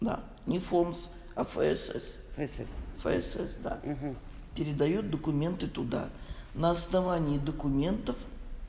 да не фомс а фсс фсс фсс да передают документы туда на основании документов